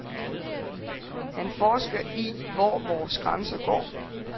Han forsker i, hvor vores grænser går.